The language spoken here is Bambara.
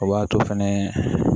O b'a to fɛnɛ